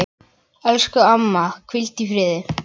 Elsku amma, hvíldu í friði.